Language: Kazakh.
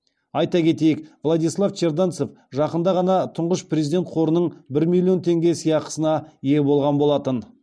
айта кетейік владислав черданцев жақында ғана тұңғыш президент қорының бір миллион теңге сыйақысына ие болған болатын